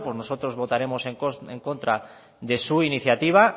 nosotros votaremos en contra de su iniciativa